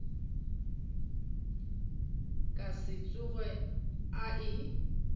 ka se tsoge a e